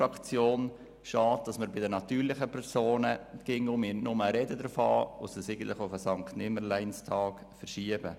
Nur schade, dass wir bei den natürlichen Personen immer nur davon reden und es auf den Sankt-Nimmerleins-Tag verschieben.